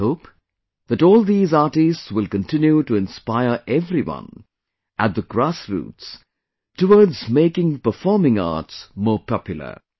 I hope that all these artists will continue to inspire everyone at the grassroots towards making performing arts more popular